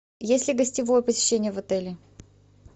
есть ли гостевое посещение в отеле